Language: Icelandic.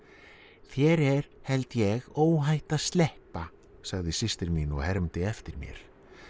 þér er held ég óhætt að sleppa sagði systir mín og hermdi eftir mér